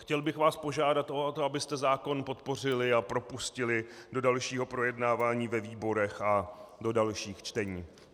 Chtěl bych vás požádat o to, abyste zákon podpořili a propustili do dalšího projednání ve výborech a do dalších čtení.